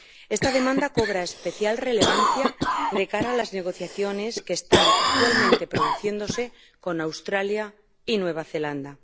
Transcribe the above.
Esta demanda cobra especial relevancia de cara a las negociaciones que están actualmente produciéndose con Australia y Nueva Zelanda.